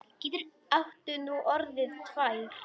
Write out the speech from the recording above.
Áttu nú orðið tvær?